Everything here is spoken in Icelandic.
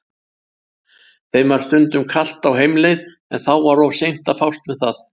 Þeim varð stundum kalt á heimleið en þá var of seint að fást um það.